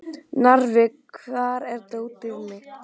Narfi, hvar er dótið mitt?